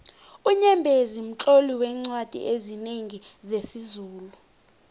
unyembezi mtloli weencwadi ezinengi zesizulu